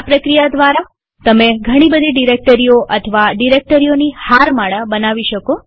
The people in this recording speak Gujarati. આ પ્રક્રિયા દ્વારા તમે ઘણી બધી ડિરેક્ટરીઓ અથવા ડિરેક્ટરીઓની હારમાળા પણ બનાવી શકો